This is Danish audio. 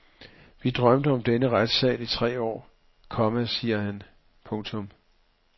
Vi drømte om denne retssal i tre år, komma siger han. punktum